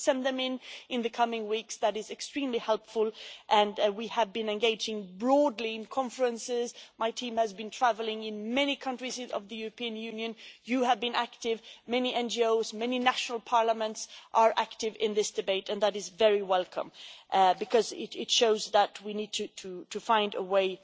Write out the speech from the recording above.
They will send them in in the coming weeks and that is extremely helpful. We have been engaging broadly in conferences, my team has been travelling to many countries of the European Union, you in this House have been active and many NGOs and many national parliaments have been active in this debate, and that is very welcome because it shows that we need to find